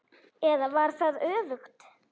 Eða var það öfugt?